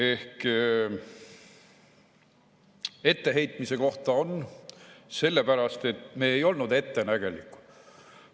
On ka etteheitmise kohta, sellepärast et me ei olnud ettenägelikud.